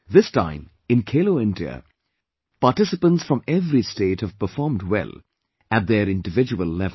This time in 'Khelo India', participants from every state have performed well at their individual level